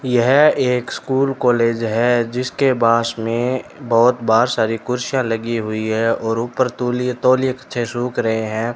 यह एक school college है जिसके बास में बहोत बाहर सारी कुर्सियां लगी हुई है और उपर तुलीए तौलिये पिछे सुख रहे हैं।